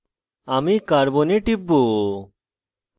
আমি carbon c এ টিপব